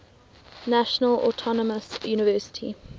national autonomous university